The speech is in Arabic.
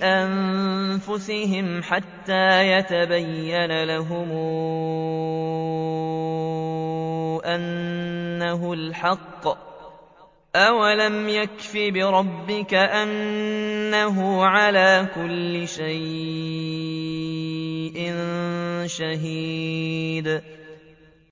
أَنفُسِهِمْ حَتَّىٰ يَتَبَيَّنَ لَهُمْ أَنَّهُ الْحَقُّ ۗ أَوَلَمْ يَكْفِ بِرَبِّكَ أَنَّهُ عَلَىٰ كُلِّ شَيْءٍ شَهِيدٌ